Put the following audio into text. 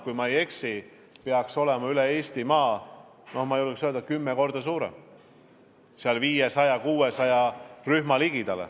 Kui ma ei eksi, siis kogu Eestis on see vajadus, julgen öelda, kümme korda suurem: ligemale 500–600 rühma.